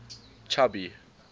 chubby